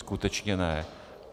Skutečně ne.